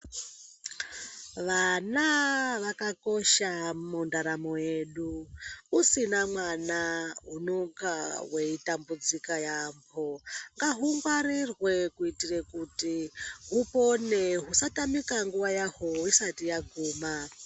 Vana vakakosha mundaramo yedu usina mwana unenge weitambudzika yambo ngahungwarirwe kuitira kuti hupone usatamika nguva yaho isati yaguma.